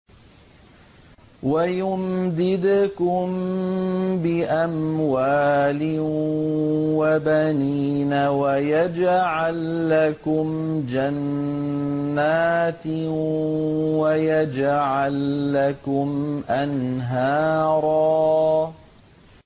وَيُمْدِدْكُم بِأَمْوَالٍ وَبَنِينَ وَيَجْعَل لَّكُمْ جَنَّاتٍ وَيَجْعَل لَّكُمْ أَنْهَارًا